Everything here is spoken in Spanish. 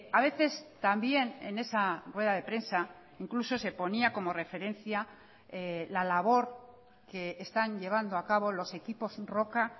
a veces también en esa rueda de prensa incluso se ponía como referencia la labor que están llevando a cabo los equipos roca